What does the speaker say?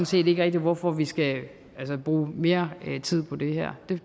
set ikke hvorfor vi skal bruge mere tid på det her